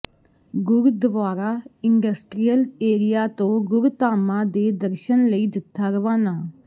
Gurdwara industrial area ਤੋਂ ਗੁਰਧਾਮਾਂ ਦੇ ਦਰਸ਼ਨਾਂ ਲਈ ਜਥਾ ਰਵਾਨਾ